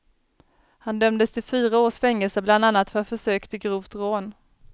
Han dömdes till fyra års fängelse, bland annat för försök till grovt rån.